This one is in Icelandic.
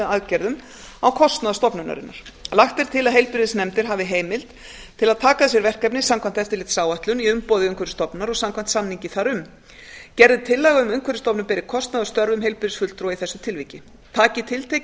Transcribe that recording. aðgerðum á kostnað stofnunarinnar lagt er til að heilbrigðisnefndir hafi heimild til að taka að sér verkefni samkvæmt eftirlitsáætlun í umboði umhverfisstofnunar og samkvæmt samningi þar um gerð er tillaga um að umhverfisstofnun beri kostnað af störfum heilbrigðisfulltrúa í þessu tilviki taki tiltekin